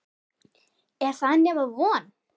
Er það nema von?